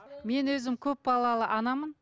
мен өзім көп балалы анамын